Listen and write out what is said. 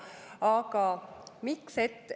Aga miks?